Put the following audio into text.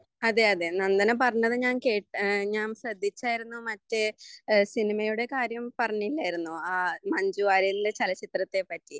അതെ അതെ നന്ദന പറഞ്ഞത് ഞാൻ ശ്രെദ്ധിച്ചായിരുന്നു മറ്റെ സിനിമയുടെ കാര്യം പറഞ്ഞില്ലായിരുന്നോ ആ മഞ്ജുവാര്യരുടെ ചലച്ചിത്രത്തെ പറ്റി